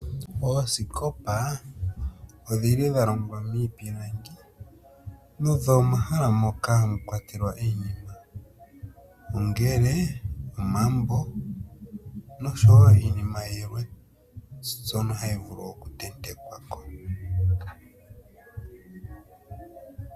Ooskopa odhili dha longwa miipilangi. Nodho omahala moka hamu kwatelwa iinima ongele omambo noshowo iinima yilwe ndjono hayi vulu oku tentekwako